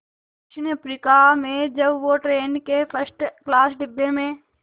दक्षिण अफ्रीका में जब वो ट्रेन के फर्स्ट क्लास डिब्बे में